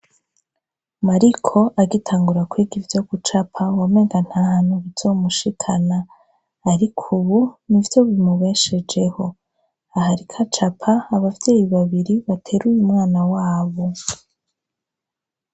Mariko agitangura kwiga ivyo gucapa wamenga nta hantu bizomushikana ariko ubu nivyo bimubeshejeho, aho ariko acapa abavyeyi babiri bateruye umwana wabo.